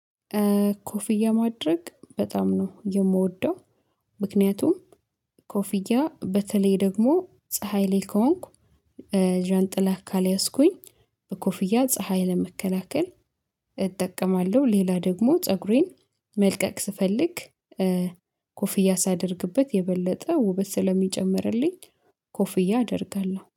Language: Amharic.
ኮፍያ ማድረግ በጣም ነው የምወደው ምክንያቱም ኮፍያ በተለይ ደግሞ ፀሀይ ላይ ከሆንኩ ዣንጥላ ካልያዝኩኝ በኮፍያ ፀሀይ ለመከላከል እጠቀማለሁ ሌላ ደግሞ ፀጉሬን መልቀቅ ስፈልግ ኮፍያ ሳደርግበት የበለጠ ውበት ስለሚጨምርልኝ ኮፍያ አደርጋለሁ።